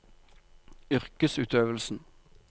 yrkesutøvelsen